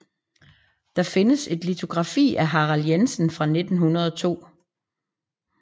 Der findes et litografi af Harald Jensen fra 1902